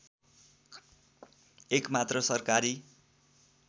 एकमात्र सरकारी